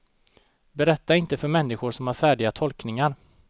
Berätta inte för människor som har färdiga tolkningar.